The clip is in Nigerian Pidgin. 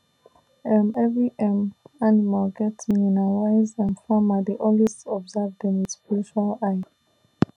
um every um animal get meaning and wise um farmer dey always observe dem with spiritual eye